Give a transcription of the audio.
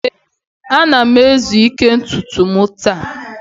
ee, ana m izu ike ntutu m taa